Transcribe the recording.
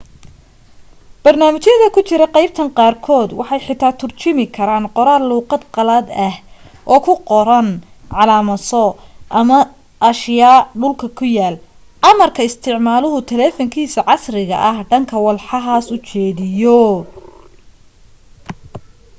barnaamijyada ku jira qaybtan qaarkood waxay xitaa turjumi karaan qoraal luuqad qalaad ah oo ku qoran calaamaso ama ashyaa dhulka yaal marka isticmaaluhu taleefankiisa casriga ah dhanka walxahaas u jeediyo